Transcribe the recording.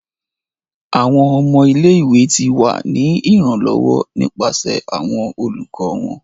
Awọn ọmọ ile-iwe ti wa ni iranlọwọ nipasẹ awọn olukọ wọn.